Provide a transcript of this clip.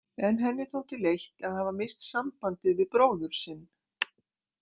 En henni þótti leitt að hafa misst sambandið við bróður sinn.